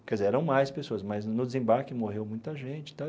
Quer dizer, eram mais pessoas, mas no desembarque morreu muita gente e tal.